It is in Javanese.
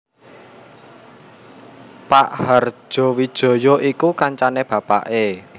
Pak Hardjowijono iku kancane bapaké